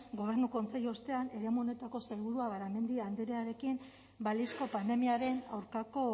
gobernu kontseilu ostean eremu honetako sailburua garamendi andrearekin balizko pandemiaren aurkako